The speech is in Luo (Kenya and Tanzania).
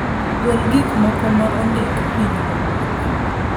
gol gik moko ma ondik piny mogik